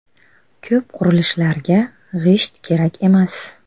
Ko‘p qurilishlarga g‘isht kerak emas.